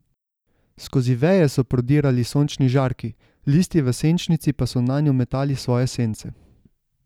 Skozi veje so prodirali sončni žarki, listi v senčnici pa so nanju metali svoje sence.